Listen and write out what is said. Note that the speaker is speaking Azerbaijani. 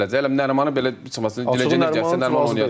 Nərimanı belə çıxmasın, dilə gətirsin, Nəriman oynayacaq.